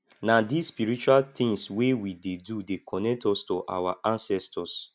na dese spiritual tins wey we dey do dey connect us to our ancestors